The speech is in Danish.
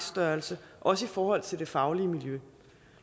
størrelse også i forhold til det faglige miljø